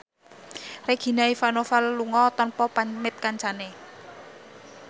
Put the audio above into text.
Regina Ivanova lunga tanpa pamit kancane